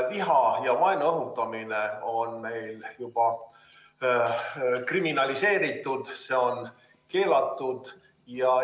Viha ja vaenu õhutamine on meil juba kriminaliseeritud, see on keelatud.